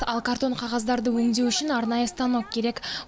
ал картон қағаздарды өңдеу үшін арнайы станок керек